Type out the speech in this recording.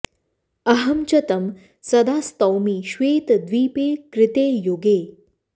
अहं च तं सदा स्तौमि श्वेतद्वीपे कृते युगे